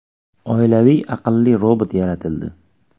Oilaviy aqlli robot yaratildi.